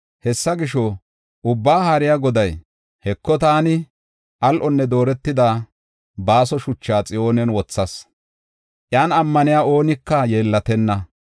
Hessa gisho, Ubbaa Haariya Goday, “Heko, taani al7onne dooretida baaso shuchaa Xiyoonen wothas; iyan ammaniya oonika yeellatenna.”